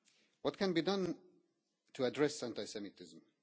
What can be done to address anti Semitism?